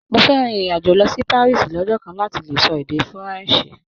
Mó fẹ rìn irin-ajo lọ sí Parisi lọjọ kan láti lè sọ èdè furanse.